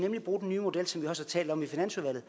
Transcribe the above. bruge den nye model som vi også har talt om i finansudvalget